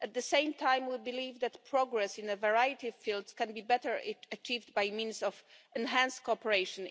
At the same time, we believe that progress in a variety of fields can be better achieved by means of enhanced cooperation.